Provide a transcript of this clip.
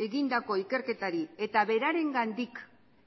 egindako ikerketari eta berarengandik